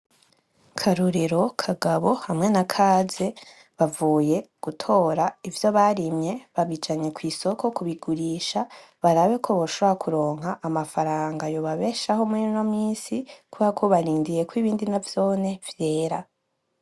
Karorero, Kagabo hamwe na Kaze bavuye gutora ivyo barimye, babijanye kw'isoko kubigurisha barabe ko boshobora kuronka amafaranga yobabeshaho murino misi kubera ko barindiriye kwibindi navyone vyera.